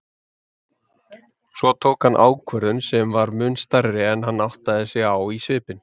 Svo hann tók ákvörðun sem var mun stærri en hann áttaði sig á í svipinn.